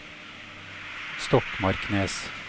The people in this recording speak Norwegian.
Stokmarknes